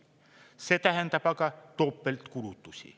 See tähendab aga topeltkulutusi.